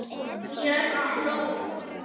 Björg hló.